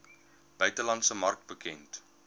buitelandse mark bekend